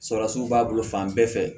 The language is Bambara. Salatiw b'a bolo fan bɛɛ fɛ